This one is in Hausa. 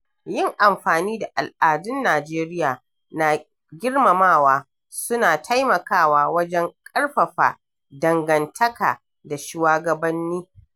Yin amfani da al’adun Najeriya na girmamawa suna taimakawa wajen ƙarfafa dangantaka da shuwagabanni.